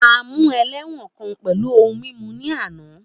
A mu ẹlẹ́wọ̀n kan pẹlu ohun mimu ni ana.